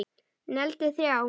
Negldi þrjá!!!